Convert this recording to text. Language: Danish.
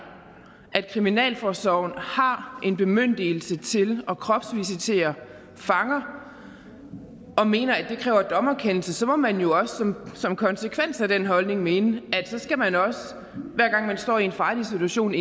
at kriminalforsorgen har en bemyndigelse til at kropsvisitere fanger og mener at det kræver dommerkendelse så må man jo også som konsekvens af den holdning mene at så skal man også hver gang man står i en farlig situation